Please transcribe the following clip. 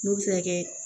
N'o bɛ se ka kɛ